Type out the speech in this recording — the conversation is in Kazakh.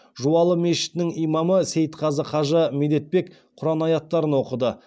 жуалы мешітінің имамы сейітқазы қажы медетбек құран аяттарын оқыды